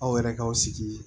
Aw yɛrɛ kaw sigi